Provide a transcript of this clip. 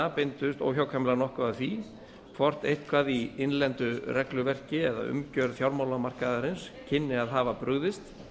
beindust óhjákvæmilega nokkuð að því hvort eitthvað í innlendu regluverki eða umgjörð fjármálamarkaðarins kynni að hafa brugðist